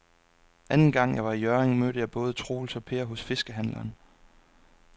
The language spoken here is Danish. Anden gang jeg var i Hjørring, mødte jeg både Troels og Per hos fiskehandlerne.